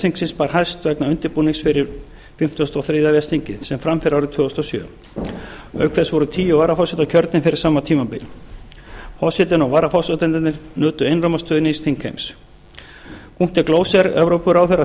þingsins bar hæst vegna undirbúnings fyrir fimmtíu og þrjú ves þingið sem fram fer árið tvö þúsund og sjö auk þess voru tíu varaforsetar kjörnir fyrir sama tímabil forsetinn og varaforsetarnir nutu einróma stuðnings þingheims gloser evrópuráðherra